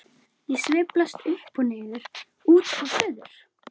Ég sveiflast upp og niður, út og suður.